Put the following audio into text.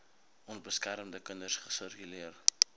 onbeskermde kinders sirkuleer